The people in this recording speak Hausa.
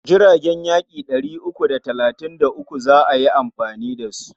Jiragen yaƙi ɗari uku da talatin da uku za a yi amfani da su.